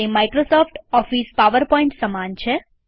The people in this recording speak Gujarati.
તે માઈક્રોસોફ્ટ ઓફીસ પાવરપોઈન્ટ સમાન છે